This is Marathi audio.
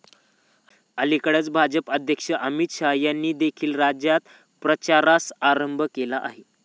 अलिकडेच भाजप अध्यक्ष अमित शाह यांनी देखील राज्यात प्रचारास प्रारंभ केला आहे.